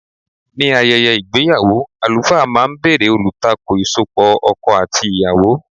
Ní ayẹyẹ ìgbéyàwó, àlùfáà máa ń bèrè olùtakò ìsopọ̀ ọkọ àti ìyàwó.